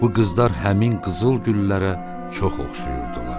Bu qızlar həmin qızılgüllərə çox oxşayırdılar.